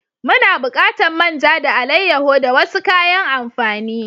Muna bukatan man ja da alaiyaho da wasu kayan amfani.